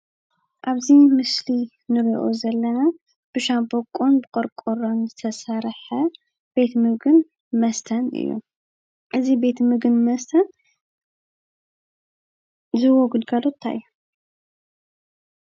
አብዚ ምስሊ ንሪኦ ዘለና ብሻቦቆን ብቆርቆሮን ዝተሰርሐ ቤት ምግብን መስተን እዩ፡፡ እዚ ቤተ ምግብን መስተን ዝህቦ ግልጋሎት እንታይ እዩ?